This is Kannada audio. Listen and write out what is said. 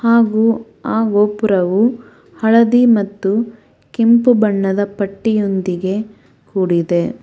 ಹಾಗು ಆ ಗೋಪುರವು ಹಳದಿ ಮತ್ತು ಕೆಂಪು ಬಣ್ಣದ ಪಟ್ಟಿಯೊಂದಿಗೆ ಕೂಡಿದೆ.